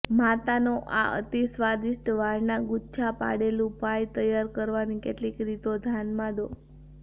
માતાનો આ અતિ સ્વાદિષ્ટ વાળના ગુચ્છા પાડેલું પાઈ તૈયાર કરવાની કેટલીક રીતો ધ્યાનમાં દો